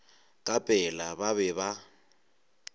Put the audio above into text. ka pela ba be ba